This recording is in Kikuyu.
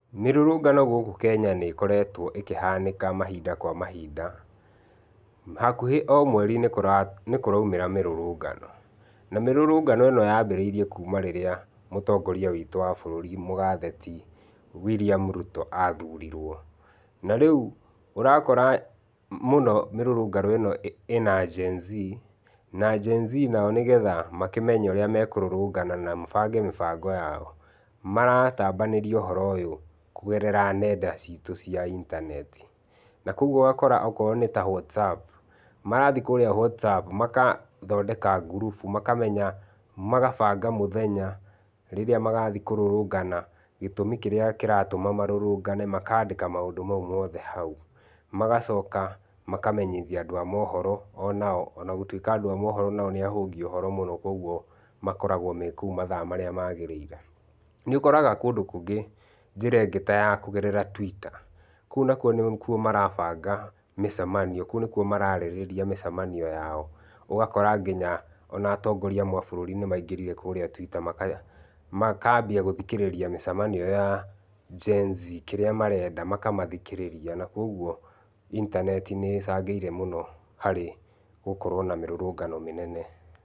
Mĩrũrũngano gũkũ Kenya nĩ ĩkoretwo ĩkĩhanĩka mahinda kwa mahinda, hakuhĩ o mweri nĩ nĩ kũraumĩra mĩrũrũngano. Na mĩrũrũngano ĩno yambĩrĩirie kuuma rĩrĩa mũtongoria witũ wa bũrũri mũgathe ti William Ruto aathurirwo. Na rĩu ũrakora mũno mĩrũrũngano ĩno ĩna Gen-z, na Gen-z nao nĩgetha makĩmenye ũrĩa mekũrũrũngana na mabange mĩbango yao, maratambanĩrwo ũhoro ũyũ kũgerera nenda ciitũ cia intaneti. Na kũguo ũgakora okorwo nĩ WhatsApp, marathiĩ kũũrĩa WhatsApp, makathondeka ngurubu, makamenya, magabanga mũthenya rĩrĩa magathi kũrũrũngana, gĩtũmi kĩrĩa kĩratũma marũrũngane, makandĩka maũndũ mau moothe hau. Magacoka makamenyithia andũ a mohoro onao. Ona gũtuĩka andũ a mohoro nĩ ahũngi ũhoro mũno kũguo makoragwo me kũu mathaa marĩa magĩrĩire. Nĩ ũkoraga kũndũ kũngĩ njĩra ĩngĩ ta ya kũgerera Twitter. Kũu nakuo nĩ kuo marabanga mĩcemanio. Kũu nĩkuoa mararĩrĩria mĩcemanio yao. Ũgakora nginya ona atongoria amwe a bũrũri nĩ maingĩrire kũũrĩa Twitter makambia gũthikĩrĩria mĩcemanio ĩyo ya Gen-z. Kĩrĩa marenda makamathikĩrĩria. Na kũguo intaneti nĩ ĩcangĩire mũno harĩ gũkorwo na mĩrũrũngano mĩnene.